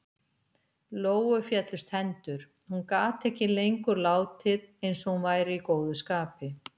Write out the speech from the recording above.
Lóu féllust hendur- hún gat ekki lengur látið eins og hún væri í góðu skapi.